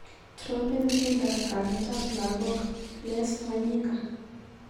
Trompen tyendo kametap lagok, Les Wanyika.